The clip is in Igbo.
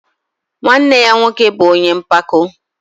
Nwanne ya nwoke bụ ọnye mpako